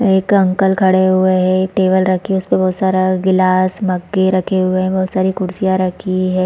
एक अंकल खड़े हुए है टेबल रखी उस पर बहुत सारा ग्लास मटके रखे हुए है बहुत सारी कुर्सिया रखी हुई है।